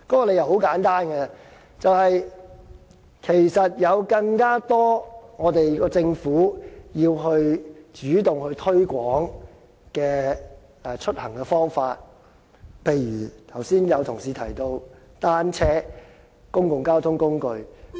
理由很簡單，其實政府有更多主動推廣出行的方法，例如剛才有同事提到單車、公共交通工具。